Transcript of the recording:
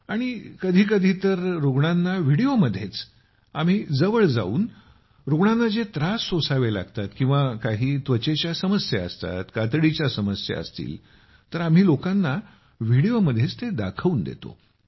आणि कधी कधी तर रूग्णांना व्हिडिओमध्येच आम्ही जवळ जाऊन रूग्णांना जे त्रास सोसावे लागतात किंवा काही त्वचेच्या समस्या असतात कातडीच्या समस्या असतील तर आम्ही लोकांना व्हिडिओमध्येच ते दाखवून देतो